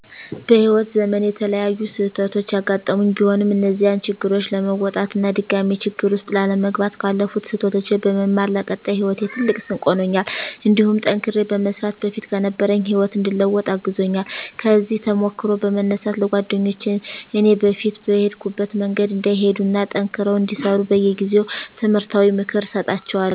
በህይዎት ዘመኔ የተለያዩ ስህተቶች ያጋጠሙኝ ቢሆንም እነዚያን ችግሮች ለመወጣት እና ድጋሜ ችግር ውስጥ ላለመግባት ካለፉት ስህተቶች በመማር ለቀጣይ ሂወቴ ትልቅ ስንቅ ሆኖኛል እንዲሁም ጠንክሬ በመስራት በፊት ከነበረኝ ህይወት እንድለወጥ አግዞኛል። ከዚህ ተሞክሮ በመነሳት ለጓደኞቸ እኔ በፊት በሄድኩበት መንገድ እንዳይሄዱ እና ጠንክረው እንዲሰሩ በየጊዜው ትምህርታዊ ምክር እሰጣቸዋለሁ።